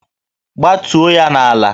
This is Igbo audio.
Gbatuo ya n'ala!